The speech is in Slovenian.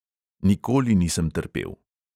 Nikoli nisem trpel.